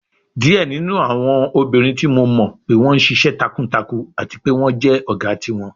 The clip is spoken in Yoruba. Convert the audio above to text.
Diẹ ninu awọn obinrin ti Mo mọ pe wọn ṣiṣẹ takuntakun ati pe wọn jẹ ọga tiwọn